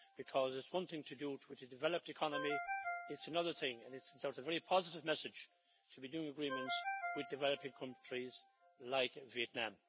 Because it's one thing to do it with a developed economy, and it's another thing so it's a very positive message to be doing agreements with developing countries like Vietnam.